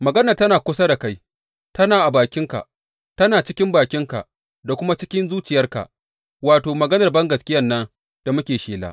Maganar tana kusa da kai; tana cikin bakinka da kuma cikin zuciyarka, wato, maganar bangaskiyan nan da muke shela.